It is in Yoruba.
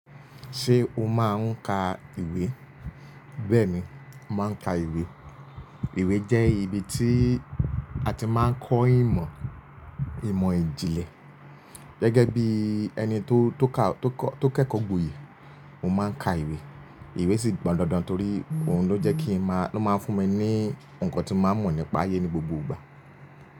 Ṣé o máa ń ka ìwé? Bẹ́ẹ̀ni, mo máa ń ka ìwé. Ìwé jẹ́ ibi tí a ti máa ń kọ́ ìmọ̀, ìmọ̀ ìjìnlẹ̀. Gẹ́gẹ́ bí ẹni tó, tó kẹ́kọ̀ọ́gboyè, mo máa ń ka ìwé. Ìwé sì pọ́n dándán torí òun ló jẹ́ kí i máa, ló máa ń fún mi ní nǹkan tí mo máa ń mọ̀ nípa ayé ní gbogbo ìgbà.